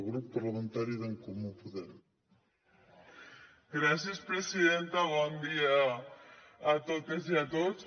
gràcies presidenta bon dia a totes i a tots